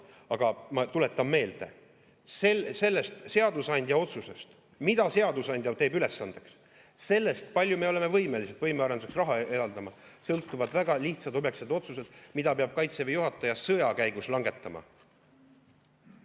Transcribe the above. Aga ma tuletan meelde: sellest seadusandja otsusest, mille seadusandja teeb ülesandeks, sellest, kui palju me oleme võimelised võimearenduseks raha eraldama, sõltuvad väga lihtsad objektiivsed otsused, mida peab Kaitseväe juhataja sõja käigus langetama.